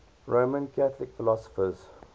roman catholic philosophers